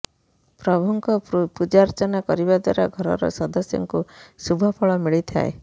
ପ୍ରଭୁଙ୍କ ପୂଜାର୍ଚ୍ଚନା କରିବା ଦ୍ୱାରା ଘରର ସଦସ୍ୟଙ୍କୁ ଶୁଭଫଳ ମିଳିଥାଏ